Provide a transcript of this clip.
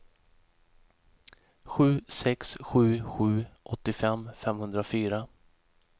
sju sex sju sju åttiofem femhundrafyra